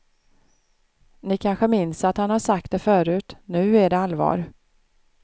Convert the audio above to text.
Ni kanske minns att han har sagt det förut, nu är det allvar.